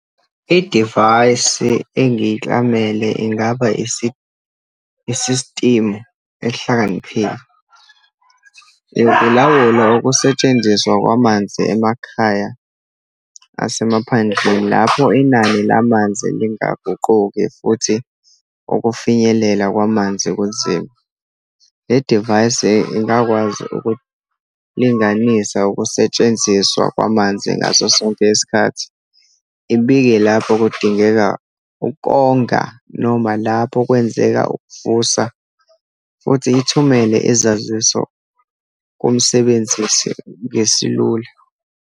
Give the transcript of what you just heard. Idivayisi engiyeklamele ingaba isistimu ehlakaniphile. Ilawula ukusetshenziswa kwamanzi emakhaya asemaphandleni lapho inani lamanzi lingaguquki, futhi ukufinyelela kwamanzi kunzima. Le divayisi ingakwazi ukulinganisa ukusetshenziswa kwamanzi ngaso sonke isikhathi, ibike lapho kudingeka ukonga, noma lapho kwenzeka ukuvusa, futhi ithumele izaziso kumsebenzisi ngesilula.